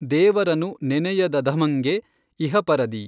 ದೇವರನು ನೆನಯದಧಮಂಗೆ ಇಹಪರದಿ।